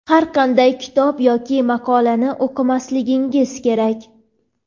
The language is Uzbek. har qanday kitob yoki maqolani o‘qimasligingiz kerak.